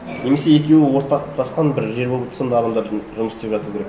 немесе екеуі ортақтасқан бір ағымдарда жұмыс істеп жатуы керек